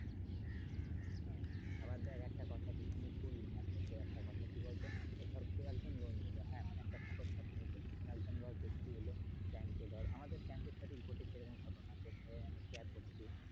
হ্যা আবার দেখ একটা কথা যেখানে বললি মানে একটা কথা কি বলতো ধর কেউ একজন loan নিলো হাঁ মানে suppose কথা আমি বলছি কোনও একজন ধর ব্যক্তি এলো bank এ ধর। আমাদের bank এর সাথে ঘটেছে এই রকম ঘটনা তোর সাথে আমি share করছি।